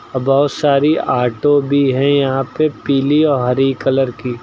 बहोत सारी ऑटो भी हैं यहां पे पीली अ हरी कलर की --